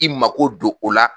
I mako don o la